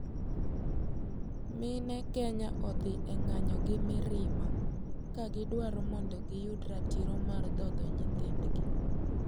Mine Kenya odhi e ng'anyo gi mirima ka gidwaro mondo giyud ratiro mar dhodho nyithindgi.